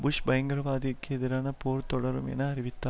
push பயங்கரவாத்திகெதிரான போர் தொடரும் என்று அறிவித்தார்